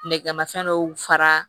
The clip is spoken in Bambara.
Nɛgɛmafɛn dɔw fara